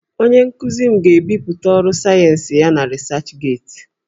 Onye nkuzi m ga-ebipụta ọrụ sayensị ya na 'researchgate'